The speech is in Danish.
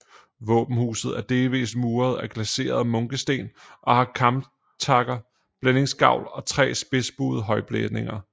Våbenhuset er delvist muret af glaserede munkesten og har kamtakket blændingsgavl og tre spidsbuede højblændinger